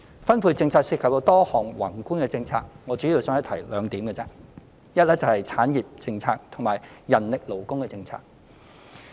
分配政策涉及多項宏觀政策，我主要僅提出兩點，其一是產業政策，其二是人力勞工政策。